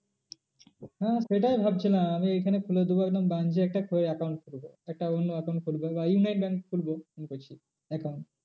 হ্যাঁ সেটাই ভাবছিলাম আমি এইখানে খুলে দেবো একদম branch এ একটা account খুলবো। একটা অন্য account খুলবো বা united bank খুলবো মনে করছি account